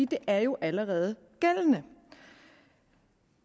det er jo allerede gældende